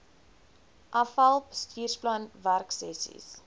afal bestuursplan werksessies